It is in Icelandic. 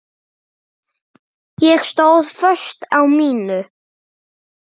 Ég stóð föst á mínu.